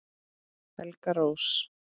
Helga Rósa